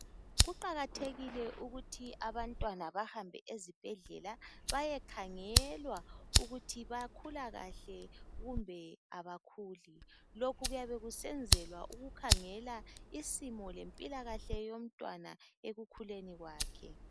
Kuqakathekile ukuthi abantwana bahambe ezibhedlela bayekhangelwa ukuthi bayakhula kahle kumbe abakhuli kokhu kuyabe kusenzelwa ukukhangelwa isimo lempilakahle yomntwana ekukhuleni kwakhe